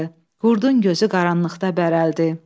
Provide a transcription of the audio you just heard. Qurdun gözü qaranlıqda bərəldi.